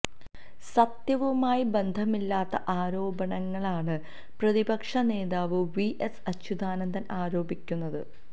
സത്യവുമായി ബന്ധമില്ലാത്ത ആരോപണങ്ങളാണ് പ്രതിപക്ഷ നേതാവ് വി എസ് അച്യുതാനന്ദൻ ആരോപിക്കുന്നത്